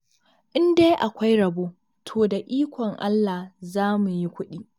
In dai akwai rabo, to da ikon Allah za mu yi kuɗi.